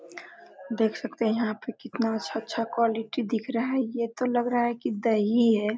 देख सकते है यहाँ पे कितना अच्छा- अच्छा क्वालिटी दिख रहा है ये तो लग रहा है की दही है ।